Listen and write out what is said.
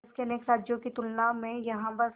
देश के अनेक राज्यों की तुलना में यहाँ बस